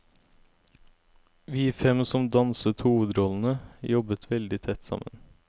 Vi fem som danset hovedrollene, jobbet veldig tett sammen.